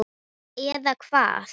Eða Hvað?